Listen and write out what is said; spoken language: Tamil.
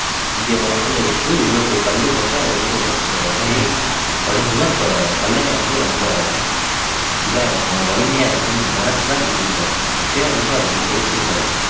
இங்கே இவ்வளவு இவ்வளவு பெரிய கல்லு போட்டா இவ்வளவு தூரம் உள்ள போய் படிஞ்சிரும் அப்போ கல்லணை வந்து ரொம்ப இதா இருக்கும் வலிமையா இருக்கும்னு நினைச்சு தான் கட்டி இருக்காரு அப்பவே வந்து அவ்வளவு யோசிச்சி இருக்காரு